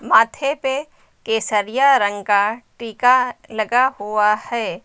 माथे पे केसरिया रंग का टीका लगा हुआ है।